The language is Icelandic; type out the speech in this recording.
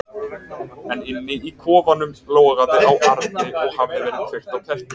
En inni í kofanum logaði á arni og hafði verið kveikt á kertum.